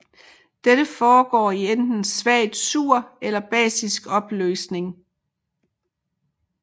Dette foregår i enten svagt sur eller basisk opløsning